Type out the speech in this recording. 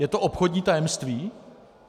Je to obchodní tajemství?